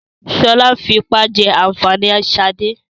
Sọlá ń fipá jẹ ànfàní ṣade.